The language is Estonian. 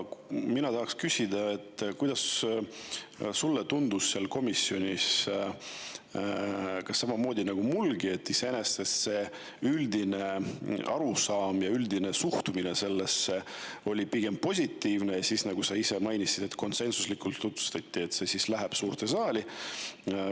Mina tahan küsida, kuidas sulle tundus seal komisjonis, kas samamoodi nagu mullegi, et iseenesest üldine arusaam ja üldine suhtumine oli pigem positiivne, ja nagu sa ise mainisid, konsensuslikult otsustati, et see läheb suurde saali.